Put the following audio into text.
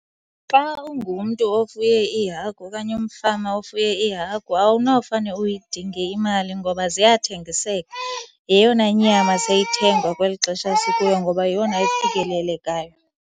Xa ungumntu ofuye iihagu okanye umfama ofuye iihagu awunofane uyidinge imali ngoba ziyathengiseka. Yeyona nyama seyithengwa kweli xesha sikulo, ngoba yeyona ifikelelekayo.